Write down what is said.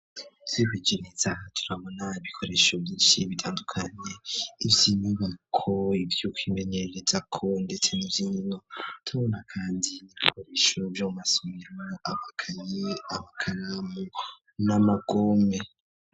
Twihweje ineza turabona ibikoresho vyishi bitandukanye ivyinyubako ivyukwimenyererezako ndetse n'ivyinkino tubona kandi ibikoresho vyo mu masomero amakaye, amakanamu n'amagome.